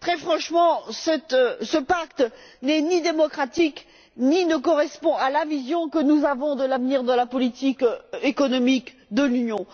très franchement, ce pacte n'est pas démocratique et ne correspond pas à la vision que nous avons de l'avenir de la politique économique de l'Union.